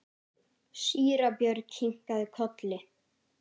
Síra Björn kinkaði kolli.